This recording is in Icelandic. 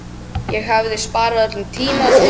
Það hefði sparað öllum tíma og pen